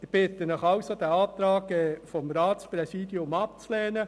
Ich bitte Sie, den Antrag des Ratspräsidiums abzulehnen.